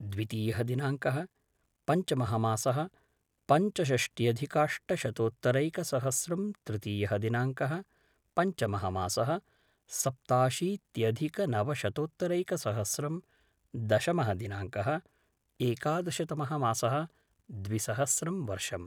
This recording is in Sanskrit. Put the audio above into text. द्वितीयः दिनाङ्कः पञ्चमः मासः पञ्चषष्ट्यधिकाष्टशतोत्तरैकसहस्रं तृतीयः दिनाङ्कः पञ्चमः मासः सप्ताशीत्यधिकनवशतोत्तरैकसहस्रं दशमः दिनाङ्कः एकादशतमः मासः द्विसहस्रम् वर्षम्